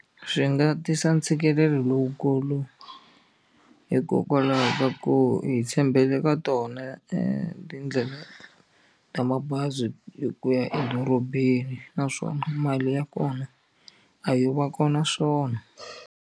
Swi nga tisa ntshikelelo lowukulu hikokwalaho ka ku hi tshembele ka tona e tindlela ta mabazi hi ku ya edorobeni naswona mali ya kona a yo va kona swona.